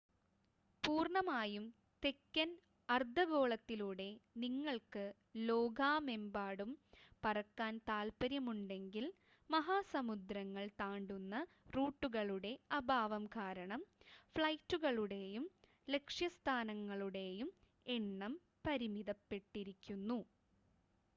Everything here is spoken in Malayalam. പൂർണ്ണമായും തെക്കൻ അർദ്ധഗോളത്തിലൂടെ നിങ്ങൾക്ക് ലോകാമെമ്പാടും പറക്കാൻ താൽപര്യം ഉണ്ടെങ്കിൽ മഹാസമുദ്രങ്ങൾ താണ്ടുന്ന റൂട്ടുകളുടെ അഭാവം കാരണം ഫ്ലൈറ്റുകളുടേയും ലക്ഷ്യസ്ഥാനങ്ങളുടെയും എണ്ണം പരിമിതപ്പെട്ടിരിക്കുന്നു